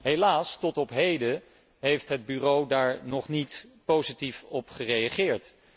Helaas, tot op heden, heeft het Bureau daar nog niet positief op gereageerd.